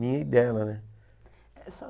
Minha e dela, né? Essa